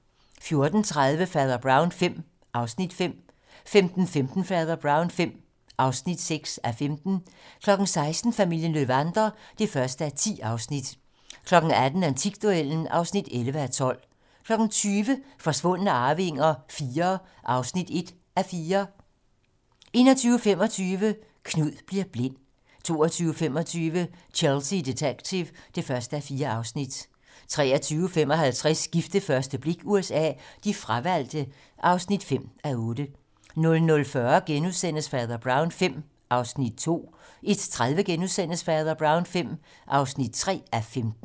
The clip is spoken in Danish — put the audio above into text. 14:30: Fader Brown V (5:15) 15:15: Fader Brown V (6:15) 16:00: Familien Löwander (1:10) 18:00: Antikduellen (11:12) 20:00: Forsvundne arvinger IV (1:4) 21:25: Knud bliver blind 22:25: Chelsea Detective (1:4) 23:55: Gift ved første blik USA: De fravalgte (5:8) 00:40: Fader Brown V (2:15)* 01:30: Fader Brown V (3:15)*